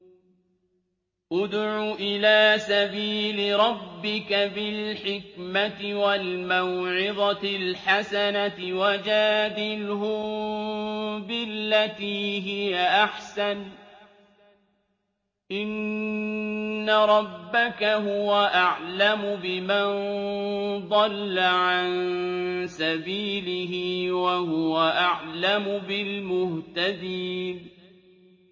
ادْعُ إِلَىٰ سَبِيلِ رَبِّكَ بِالْحِكْمَةِ وَالْمَوْعِظَةِ الْحَسَنَةِ ۖ وَجَادِلْهُم بِالَّتِي هِيَ أَحْسَنُ ۚ إِنَّ رَبَّكَ هُوَ أَعْلَمُ بِمَن ضَلَّ عَن سَبِيلِهِ ۖ وَهُوَ أَعْلَمُ بِالْمُهْتَدِينَ